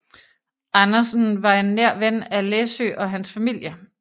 Andersen var en nær ven af Læssøe og hans familie